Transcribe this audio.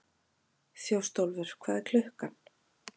Þjóstólfur, hvað er klukkan?